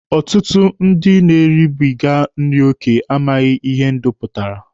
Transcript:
Ọtụtụ ndị na-eribiga nri oke amaghị ihe ndụ pụtara.